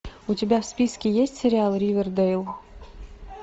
у тебя в списке есть сериал ривердэйл